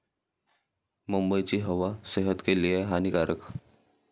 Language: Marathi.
मुंबईची हवा सेहत के लिए हानीकारक!